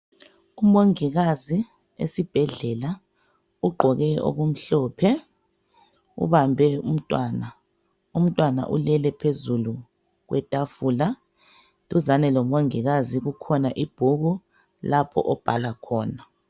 Umongikazi esibhedlela ugqoke okumhlophe ubambe umntwana, umntwana ulele phezulu kwetafula duzane lomongikazi kukhona ibhuku lapho obhala khona.